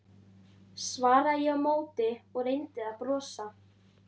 svaraði ég á móti og reyndi að brosa.